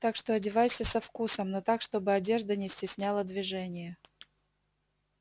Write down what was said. так что одевайся со вкусом но так чтобы одежда не стесняла движение